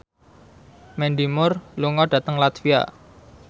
Mandy Moore lunga dhateng latvia